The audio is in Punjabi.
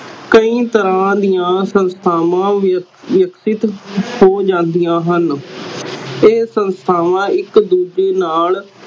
ਕਈ ਤਰ੍ਹਾਂ ਦੀਆ ਸੰਸਥਾਵਾਂ ਹੋ ਜਾਂਦੀਆਂ ਹਨ ਇਹ ਸੰਸਥਾਵਾਂ ਇਕ ਦੂਜੇ ਨਾਲ